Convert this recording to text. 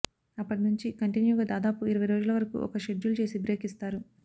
అప్పటి నుంచి కంటిన్యూగా దాదాపు ఇరవై రోజుల వరకు ఒక షెడ్యుల్ చేసి బ్రేక్ ఇస్తారు